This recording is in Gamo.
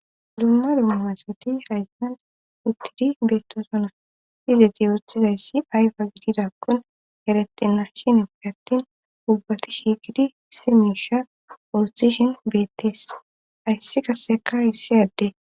Dumma dummumasati haysinan uttidi beettosona izeti oothizayssi ayfa gididakkon erete narshinfe attin ubbati shiikidi simisha urthishin beettees ayssi kasseka hissi adde.